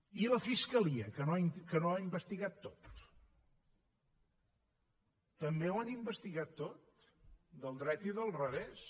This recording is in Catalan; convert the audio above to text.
i la fiscalia que no ho ha investigat tot també ho han investigat tot del dret i del revés